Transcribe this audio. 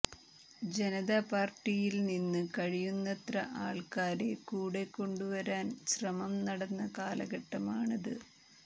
ജനതാ പാർട്ടിയിൽ നിന്ന് കഴിയുന്നത്ര ആൾക്കാരെ കൂടെ കൊണ്ടുവരാൻ ശ്രമം നടന്ന കാലഘട്ടമാണത്